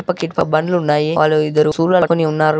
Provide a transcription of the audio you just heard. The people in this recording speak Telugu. అటు పక్క ఇటు పక్క బండ్లు ఉన్నాయి వాళ్ళు ఇద్దరు శూలలు పట్టుకొని ఉన్నారు.